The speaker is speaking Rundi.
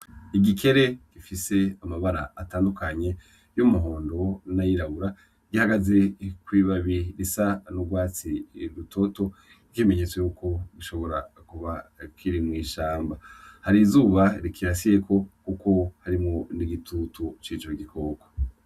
Igikere gifise amabara atandukanye y'umuhondo n'ayirabura, gihagaze kw'ibabi rusa n'urwatsi rutoto nk'ikimenyetso yuko gishobora kuba kiri mw'ishamba, hari izuba rikirasiyeko kuko harimwo n'igitutu cico gikoko.